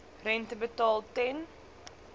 rente betaal ten